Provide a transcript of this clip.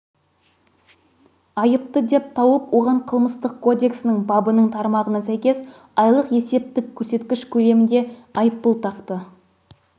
айыпты деп тауып оған қылмыстық кодексінің бабының тармағына сәйкес айлық есептік көрсеткіш көлемінде айыппұл тақты